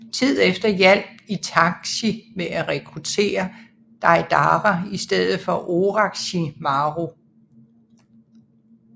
Tid efter hjalp Itachi med af rekrutere Deidara i stedet for Orochimaru